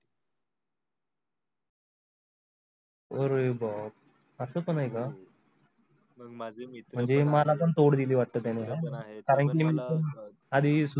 अरे बापरे अस पण आहे का म्हणजे मला पण तोड दिल वाटे कारण मी पण.